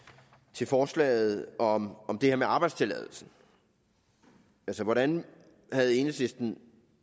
til forslaget om om det her med arbejdstilladelse hvordan har enhedslisten